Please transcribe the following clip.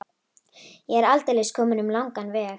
Ég er aldeilis kominn um langan veg.